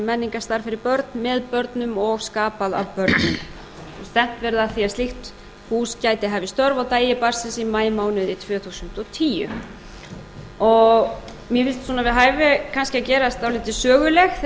menningarstarf fyrir börn með börnum og skapað af börnum stefnt verði að því að slíkt hús gæti hafið störf á degi barnsins í maímánuði tvö þúsund og tíu mér finnst svona við hæfi kannski að gera þetta dálítið sögulegt þegar við ræðum um